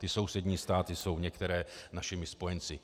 Ty sousední státy jsou některé našimi spojenci.